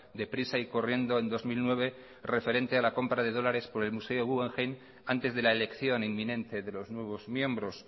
deprisa y corriendo en dos mil nueve referente a la compra de dólares por el museo guggenheim antes de la elección inminente de los nuevos miembros